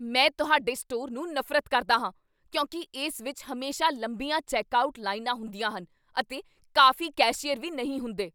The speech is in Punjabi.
ਮੈਂ ਤੁਹਾਡੇ ਸਟੋਰ ਨੂੰ ਨਫ਼ਰਤ ਕਰਦਾ ਹਾਂ ਕਿਉਂਕਿ ਇਸ ਵਿੱਚ ਹਮੇਸ਼ਾ ਲੰਬੀਆਂ ਚੈੱਕਆਉਟ ਲਾਈਨਾਂ ਹੁੰਦੀਆਂ ਹਨ ਅਤੇ ਕਾਫ਼ੀ ਕੈਸ਼ੀਅਰ ਵੀ ਨਹੀਂ ਹੁੰਦੇ।